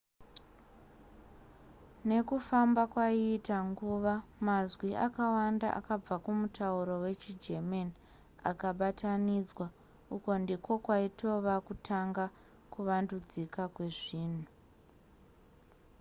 nekufamba kwaiita nguva mazwi akawanda akabva kumutauro wechigerman akabatanidzwa uku ndiko kwaitova kutanga kuvandudzika kwezvinhu